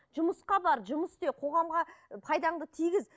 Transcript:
жұмысқа бар жұмыс істе қоғамға пайдаңды тигіз